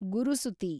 ಗುರುಸುತಿ